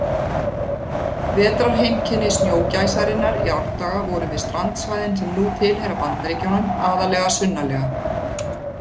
Vetrarheimkynni snjógæsarinnar í árdaga voru við strandsvæðin sem nú tilheyra Bandaríkjunum, aðallega sunnarlega.